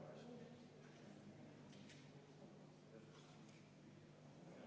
Palun võtta seisukoht ja hääletada!